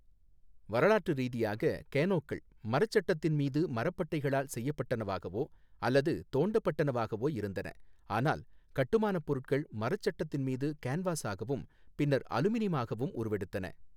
வரலாற்று ரீதியாக, கேனோக்கள் மரச் சட்டத்தின் மீது மரப்பட்டைகளால் செய்யப்படனவாகவோ அல்லது தோண்டப்படனவாகவோ இருந்தன, ஆனால் கட்டுமானப் பொருட்கள் மரச் சட்டத்தின் மீது கேன்வாஸாகவும் பின்னர் அலுமினியமாகவும் உருவெடுத்தன.